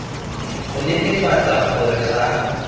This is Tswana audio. go netefatsa gore a ga